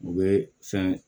U bɛ fɛn